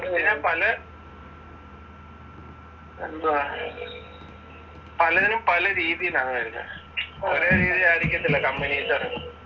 ഇങ്ങനെ പല എന്തുവാ പലതിനും പലരീതിയിലാണ് വരുന്നെ. ഒരുരീതി ആയിരിക്കത്തില്ല കമ്പനീന്ന് ഇറക്കുന്നത്.